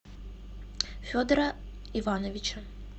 федора ивановича